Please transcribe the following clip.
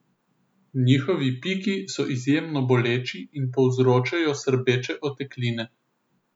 Njihovi piki so izjemno boleči in povzročajo srbeče otekline.